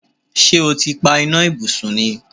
Ṣé́ o ti pa iná ibùsùn ni?